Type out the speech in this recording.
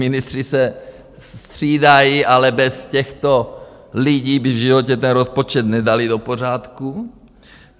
Ministři se střídají, ale bez těchto lidí by v životě ten rozpočet nedali do pořádku.